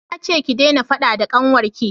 na ce ku dena faɗa da ƙanwar ki!